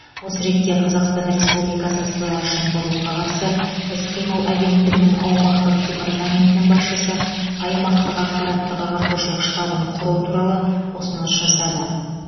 осы ретте қазақстан республикасы сыбайлас жемқорлыққа қарсы іс қимыл агенттігінің аумақтық департаментінің басшысы аймақтық ақпараттық ағартушылық штабын құру туралы ұсыныс жасады